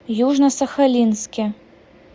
южно сахалинске